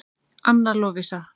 Anna Lovísa.